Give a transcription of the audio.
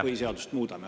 … põhiseadust muudame.